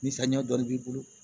Ni saniya dɔ b'i bolo